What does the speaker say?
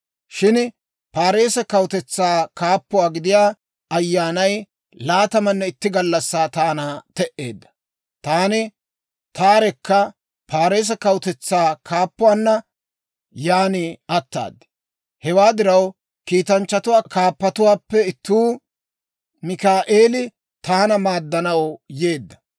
Shin Paarise kawutetsaa kaappuwaa gidiyaa ayyaanay laatamanne itti gallassaa taana te"eedda. Taani taarekka Paarise kawutetsaa kaappuwaanna yaan ataad. Hewaa diraw kiitanchchatuwaa kaappatuwaappe ittuu, Mikaa'eeli taana maaddanaw yeedda.